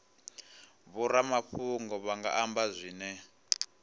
vhoramafhungo vha nga amba zwine